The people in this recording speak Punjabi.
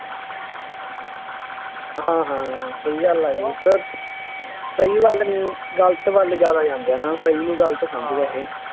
ਹਾਂ ਹਾਂ ਫੇਰ ਉਹ ਸਹੀ ਵੱਲ ਨਹੀਂ, ਗਲਤ ਵੱਲ ਜ਼ਿਆਦਾ ਜਾਂਦੇ ਆ ਨਾ, ਸਹੀ ਨੂੰ ਗਲਤ ਸਮਝਦੇ ਆ ਇਹ